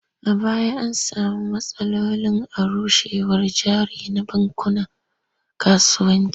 A baya an sami matsalolin arushewar jari na bankunan kasuwanci.